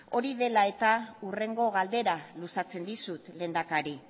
hori dela eta hurrengo galdera luzatzen dizut lehendakari